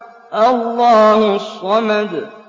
اللَّهُ الصَّمَدُ